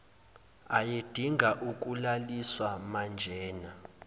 ayedinga ukulaliswa manjena